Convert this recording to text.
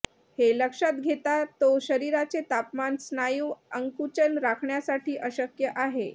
हे लक्षात घेता तो शरीराचे तापमान स्नायू आकुंचन राखण्यासाठी अशक्य आहे